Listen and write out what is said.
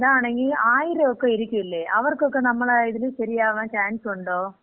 അതാണങ്കി 1000 ഒക്കെ ഇരിക്കൂലേ? അതാണങ്കി അവർക്ക് നമ്മളെല് ശരിയാവാൻ ചാൻസുണ്ടൊ?